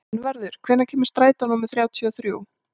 Einvarður, hvenær kemur strætó númer þrjátíu og þrjú?